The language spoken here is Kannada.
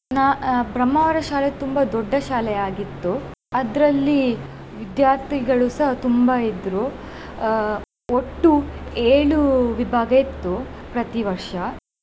ನ~ ಅಹ್ ಬ್ರಹ್ಮಾವರ ಶಾಲೆ ತುಂಬಾ ದೊಡ್ಡ ಶಾಲೆ ಆಗಿತ್ತು. ಅದರಲ್ಲಿ ವಿದ್ಯಾರ್ಥಿಗಳು ಸಹ ತುಂಬಾ ಇದ್ರು ಅಹ್ ಒಟ್ಟು ಏಳು ವಿಭಾಗ ಇತ್ತು ಪ್ರತಿ ವರ್ಷ.